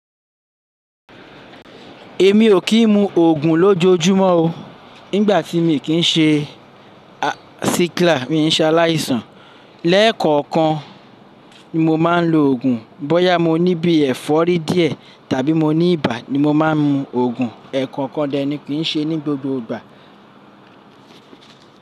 Èmi ò kí n mu òògùn lójoojúmọ́ o. Nígbà tí mi kì ń ṣe sickler, mii n ṣe aláìsàn lẹ́ẹ̀kọ̀kan ni mo máa ń lo òògùn. Bọ́yá mo ní bí ẹ̀fọ́rí díẹ̀ tàbí mo ní ibà ni mo máa ń mu òògùn. Ẹ̀ẹ̀kọ̀kan dẹ̀ ẹni kì ń ṣe ní gbogbo ìgbà.